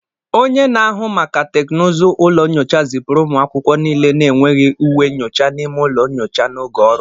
Onye na-ahụ maka teknụzụ ụlọ nyocha zipụrụ ụmụ akwụkwọ niile na-enweghị uwe nyocha n'ime ụlọ nyocha n'oge ọrụ.